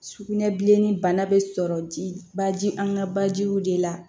Sugunɛbilenni bana bɛ sɔrɔ ji baji an ka bajiw de la